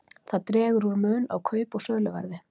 Það dregur úr mun á kaup- og söluverði.